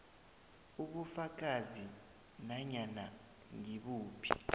ubufakazi nanyana ngibuphi